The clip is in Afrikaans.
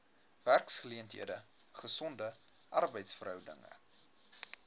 werksgeleenthede gesonde arbeidsverhoudinge